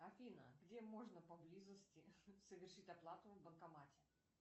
афина где можно поблизости совершить оплату в банкомате